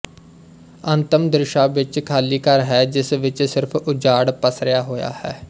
ਅੰਤਮ ਦ੍ਰਿਸ਼ਾਂ ਵਿੱਚ ਖਾਲੀ ਘਰ ਹੈ ਜਿਸ ਵਿੱਚ ਸਿਰਫ ਉਜਾੜ ਪਸਰਿਆ ਹੋਇਆ ਹੈ